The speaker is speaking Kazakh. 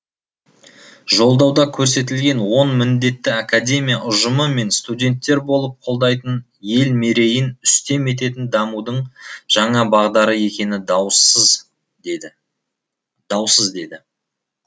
жолдауда көрсетілген он міндетті академия ұжымы мен студенттер болып қолдайтын ел мерейін үстем ететін дамудың жаңа бағдары екені даусыз деді